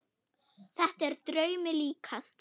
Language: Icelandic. Þetta er draumi líkast.